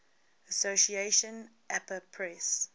association apa press